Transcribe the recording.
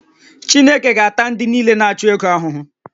Chineke ga-ata ndị niile na-achụ ego ahụhụ